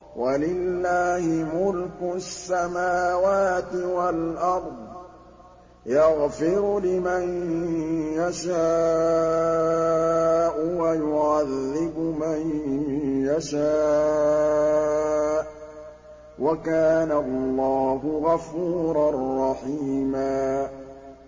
وَلِلَّهِ مُلْكُ السَّمَاوَاتِ وَالْأَرْضِ ۚ يَغْفِرُ لِمَن يَشَاءُ وَيُعَذِّبُ مَن يَشَاءُ ۚ وَكَانَ اللَّهُ غَفُورًا رَّحِيمًا